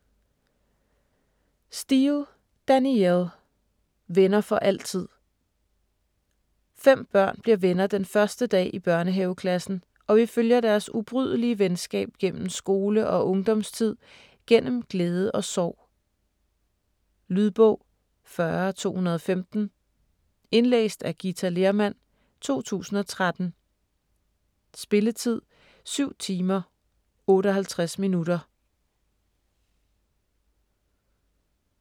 Steel, Danielle: Venner for altid Fem børn bliver venner den første dag i børnehaveklassen, og vi følger deres ubrydelige venskab gennem skole- og ungdomstid, gennem glæde og sorg. Lydbog 40215 Indlæst af Githa Lehrmann, 2013. Spilletid: 7 timer, 58 minutter.